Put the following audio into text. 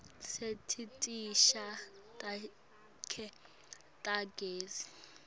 setiteshi takhe tagezi